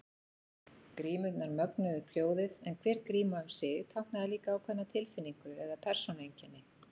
Grímurnar mögnuðu upp hljóðið en hver gríma um sig táknaði líka ákveðna tilfinningu eða persónueinkenni.